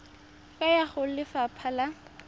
ka ya go lefapha la